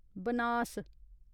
Banas